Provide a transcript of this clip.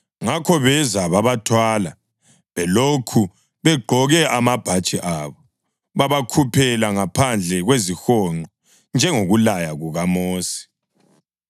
Ngakho beza babathwala belokhu begqoke amabhatshi abo, babakhuphela ngaphandle kwezihonqo njengokulaya kukaMosi.